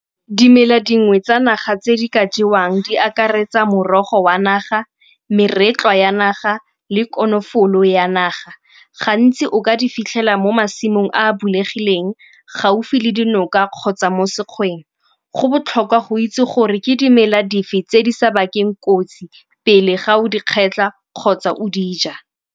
Dimela dingwe tsa naga tse di ka jewang di akaretsa morogo wa naga, meretlwa ya naga le konofolo ya naga. Gantsi o ka di fitlhela mo masimong a bulegileng gaufi le dinoka kgotsa mo sekgaleng. Go botlhokwa go itse gore ke dimela dife tse di sa bakeng kotsi pele ga o di kgetlha kgotsa o di ja.